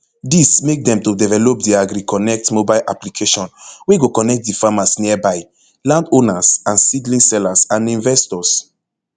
dis make dem to develop di agriconnect mobile application wey go connect di farmers nearby landowners and seedling sellers and investors